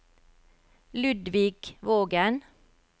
Ludvig Vågen